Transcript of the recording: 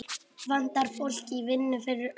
Vantar fólk í vinnu fyrir austan